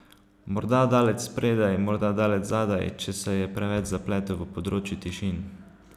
Morda daleč spredaj, morda daleč zadaj, če se je preveč zapletel v področju tišin.